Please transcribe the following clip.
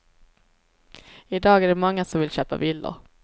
Idag är det många som vill köpa villor.